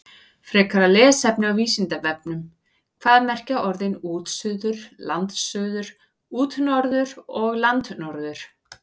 Frekara lesefni á Vísindavefnum: Hvað merkja orðin útsuður, landsuður, útnorður og landnorður?